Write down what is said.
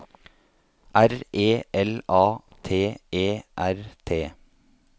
R E L A T E R T